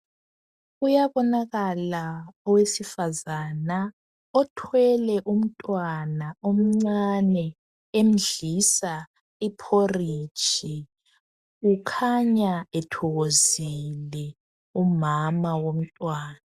Kuyabonakala owesifazana othwele umntwana omncane emdlisa iporridge .Ukhanya ethokozile umama womntwana .